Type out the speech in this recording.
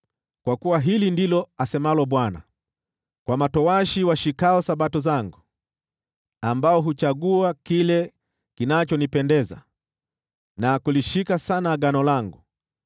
Kwa kuwa hili ndilo asemalo Bwana : “Kwa matowashi washikao Sabato zangu, ambao huchagua kile kinachonipendeza na kulishika sana agano langu: